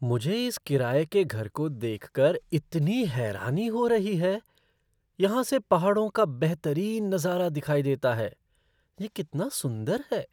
मुझे इस किराये के घर को देखकर इतनी हैरानी हो रही है। यहाँ से पहाड़ों का बेहतरीन नज़ारा दिखाई देता है। यह कितना सुंदर है!